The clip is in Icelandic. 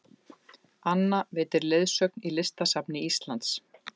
Anna veitir leiðsögn í Listasafni Íslands